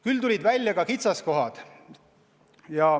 Küll tulid välja kitsaskohad.